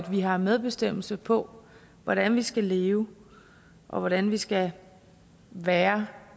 vi har medbestemmelse på hvordan vi skal leve og hvordan vi skal være